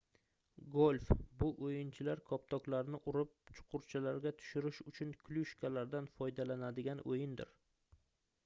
golf bu oʻyinchilar koptoklarni urib chuqurchalarga tushirish uchun klyushkalardan foydalanadigan oʻyindir